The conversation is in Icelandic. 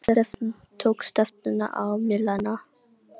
Tók stefnuna á Melana.